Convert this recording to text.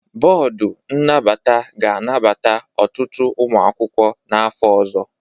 Bọọdụ nnabata ga-anabata ọtụtụ ụmụ akwụkwọ n'afọ ọzọ.